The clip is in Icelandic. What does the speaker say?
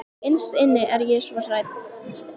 Innst inni er ég svo hrædd.